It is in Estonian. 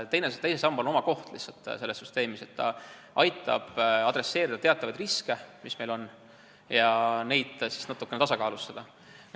Teisel sambal on lihtsalt oma koht selles süsteemis, ta aitab ohjata teatavaid riske, mis meil on, ja neid natukene tasakaalustada.